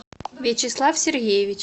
вячеслав сергеевич